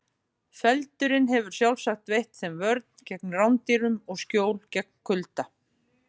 Feldurinn hefur sjálfsagt veitt þeim vörn gegn rándýrum og skjól gegn kulda.